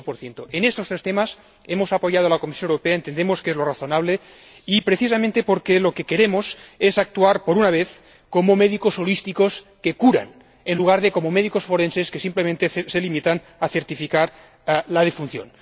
25 En estos tres temas hemos apoyado a la Comisión Europea, entendemos que es lo razonable y precisamente porque lo que queremos es actuar, por una vez, como médicos holísticos, que curan, en lugar de como médicos forenses, que simplemente se limitan a certificar la defunción.